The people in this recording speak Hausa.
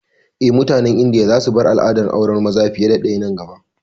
Eh, mutanen Indiya za su bar al'adar auren maza fiye da ɗaya nan gaba